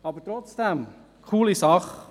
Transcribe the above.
Aber es ist trotzdem eine coole Sache.